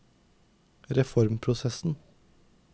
reformprosessen